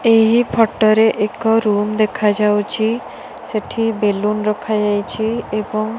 ଏହି ଫଟୋ ରେ ଏକ ରୁମ୍ ଦେଖାଯାଉଚି ସେଠି ବେଲୁନ ରଖାଯାଇଚି ଏବଂ --